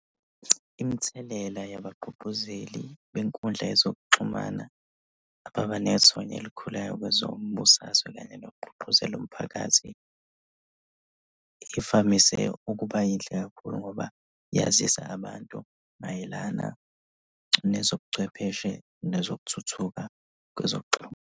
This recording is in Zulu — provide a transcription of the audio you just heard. Imithelela yabagqugquzeli benkundla yezokuxhumana ababanethonya elikhulayo kwezombusazwe kanye nokugqugquzela umphakathi ivamise ukuba yinhle kakhulu ngoba yazisa abantu mayelana nezobuchwepheshe nezokuthuthuka kwezokuxhumana.